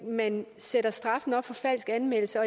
sætter straffen op for falsk anmeldelse